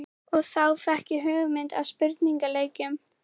Og þá fékk ég hugmyndina að spurningaleiknum.